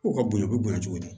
U ka bonya u bɛ bonya cogo di